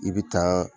I bɛ taa